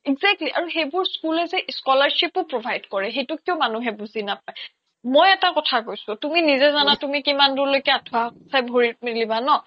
exactly সেইবোৰ school লে যে scholarship য়ো provide কৰে মানুহে কিয় বুজি নাপায় মই এটা কথা কৈছোঁ তুমি আঠোৱা চাই কিমান দূৰলৈকে ভৰি মেলিবা ন